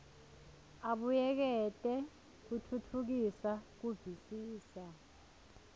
abuyekete kutfutfukisa kuvisisa